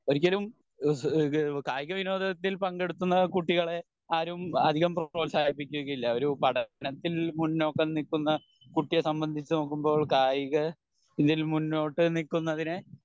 ഒരിക്കലും ആഹ് കായിക വിനോദത്തിൽ പങ്കെടുക്കുന്ന കുട്ടികളെ ആരും അധികം പ്രോഹത്സാഹിപ്പിക്കുകയില്ല ഒരു പഠനത്തിൽ മുന്നോക്കം നിക്കുന്ന കുട്ടിയെ സംബന്ധിച്ച് നോക്കുമ്പോൾ കായിക ത്തിൽ മുന്നോട്ട് നിക്കുന്നതിനെ